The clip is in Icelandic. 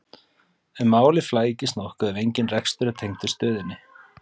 en málið flækist nokkuð ef engin rekstur er tengdur stöðinni